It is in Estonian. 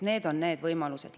Need on need võimalused.